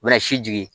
U bɛna si jigin